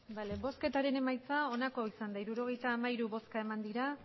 vale bozketaren emaitza onake ozan da hirurogeita hamairu bozka eman dira